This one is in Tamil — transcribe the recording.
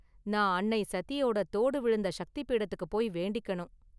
நான் அன்னை சதியோட தோடு விழுந்த ஷக்தி பீடத்துக்கு போய் வேண்டிக்கனும்.